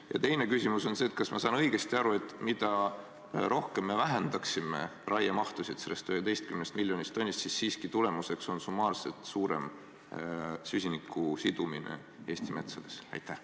Ja teine küsimus: kas ma saan õigesti aru, et mida rohkem me raiemahtu sellest 11 miljonist tonnist maha võtaksime, seda suurem oleks summaarselt süsiniku sidumine Eesti metsades?